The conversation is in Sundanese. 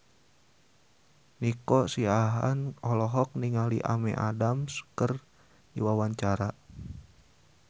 Nico Siahaan olohok ningali Amy Adams keur diwawancara